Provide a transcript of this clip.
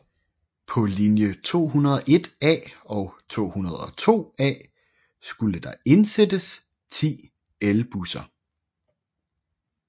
På linje 201A og 202A skulle der indsættes 10 elbusser